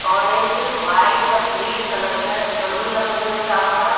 Orange white और green colour के balloon लगे हुए हैं चारों तरफ।